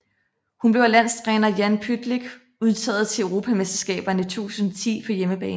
Hun blev af landstræner Jan Pytlick udtaget til Europamesterskaberne 2010 på hjemmebane